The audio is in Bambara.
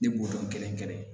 Ne b'o dɔn kelen kelen